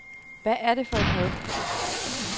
Hvad er det for et had.